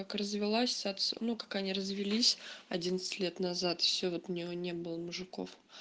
как развелась ну как они развелись лет назад всё-таки у нее не было мужиков